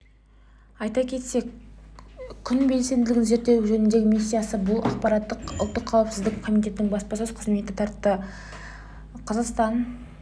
айта кетсек күн белсенділігін зерттеу жөніндегі миссиясы бұл ақпаратты ұлттық қауіпсіз комитетінің баспасөз қызметі таратты қазақстан